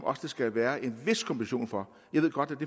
oftest vil være en vis kompensation for jeg ved godt